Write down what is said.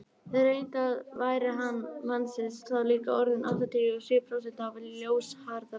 reyndar væri hraði mannsins þá líka orðinn um áttatíu og sjö prósent af ljóshraðanum